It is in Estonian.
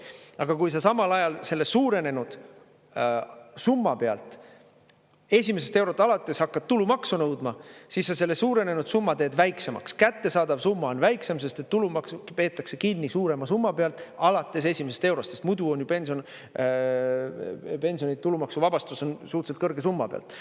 Aga kui sa samal ajal selle suurenenud summa pealt esimesest eurost alates hakkad tulumaksu nõudma, siis sa selle suurenenud summa teed väiksemaks, kättesaadav summa on väiksem, sest et tulumaksu peetakse kinni suurema summa pealt alates esimesest eurost, sest muidu pensionide tulumaksuvabastus on suhteliselt kõrge summa pealt.